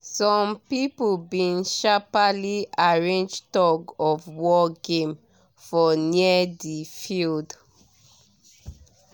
some people bin sharperly arrange tug of war game for near di field